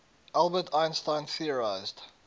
albert einstein theorized